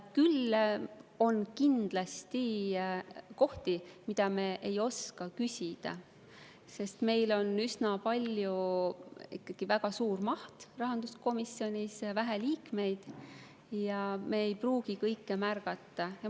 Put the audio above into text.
Küll on kindlasti kohti, mille kohta me ei oska küsida, sest meil on rahanduskomisjonis ikkagi väga suur töömaht ja vähe liikmeid ning me ei pruugi kõike märgata.